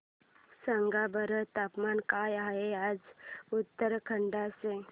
सांगा बरं तापमान काय आहे आज उत्तराखंड चे